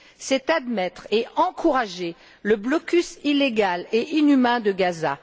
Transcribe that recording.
c'est admettre et encourager le blocus illégal et inhumain de Gaza.